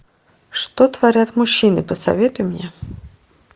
что творят мужчины посоветуй мне